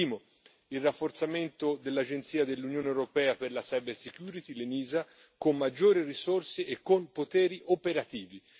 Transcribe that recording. Il primo il rafforzamento dell'agenzia dell'Unione europea per la cybersecurity l'ENISA, con maggiori risorse e con poteri operativi.